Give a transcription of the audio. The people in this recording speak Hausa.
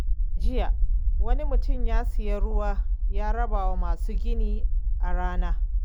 A jiya, wani mutum ya sayi ruwa ya raba wa masu gini a rana.